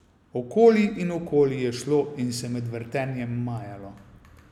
Okoli in okoli je šlo in se med vrtenjem majalo.